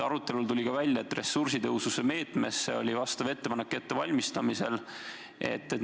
Arutelul tuli ka välja, et valmistatakse ette ettepanekut täiendada sel moel ressursitõhususe meetme kasutamist.